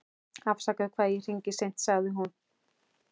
Afsakaðu hvað ég hringi seint, sagði hún.